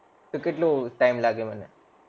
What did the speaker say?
કેટલો time લાગે મને